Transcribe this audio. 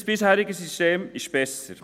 Unser bisheriges System ist besser.